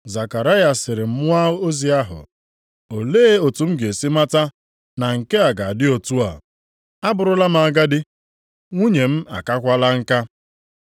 Zekaraya sịrị mmụọ ozi ahụ, “Olee otu m ga-esi mata na nke a ga-adị otu a? Abụrụla m agadi. Nwunye m akakwaala nka.”